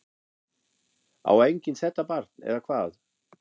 Á enginn þetta barn eða hvað?